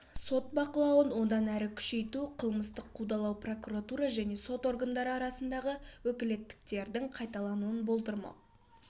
сот бақылауын одан әрі күшейту қылмыстық қудалау прокуратура және сот органдары арасындағы өкілеттіктердің қайталануын болдырмау